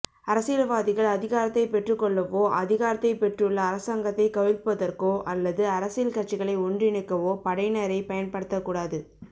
அரசியல்வாதிகள் அதிகாரத்தைப் பெற்றுக் கொள்ளவோ அதிகாரத்தை பெற்றுள்ள அரசாங்கத்தை கவிழ்ப்பதற்கோ அல்லது அரசியல் கட்சிகளை ஒன்றிணைக்கவோ படையினரைப் பயன்படுத்தக் கூடாது